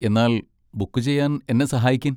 എന്നാൽ ബുക്ക് ചെയ്യാൻ എന്നെ സഹായിക്കിൻ.